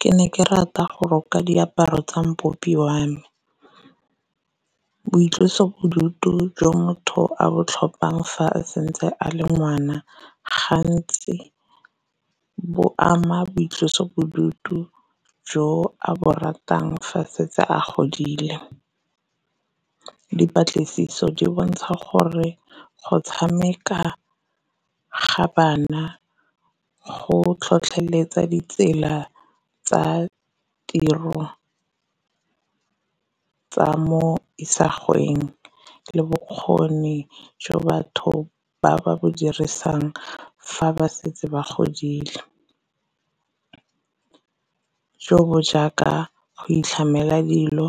Ke ne ke rata go roka diaparo tsa mpopi wa me, boitlosobodutu jwa motho a bo tlhophang fa a santse a le ngwana gantsi bo ama boitlosobodutu jo a bo ratang fa setse a godile. Dipatlisiso di bontsha gore go tshameka ga bana go tlhotlheletsa ditsela tsa tiro tsa mo isagweng le bokgoni jo batho ba ba bo dirisang fa ba setse ba godile, jo bo jaaka go itlhamela dilo,